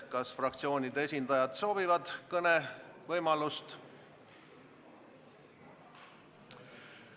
Kas fraktsioonide esindajad soovivad kõneleda?